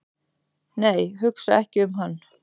"""nei, hugsa ekki um hann!"""